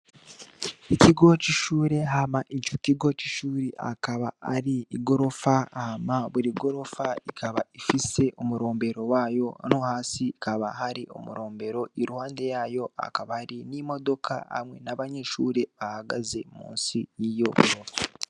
Ikigo c'ishure hama incu kigo c'ishuri akaba ari igorofa hama buri gorofa ikaba ifise umurombero wayo no hasi kaba hari umurombero iruhande yayo akaba hari n'imodoka hamwe n'abanyishure bahagaze musi yiyo o.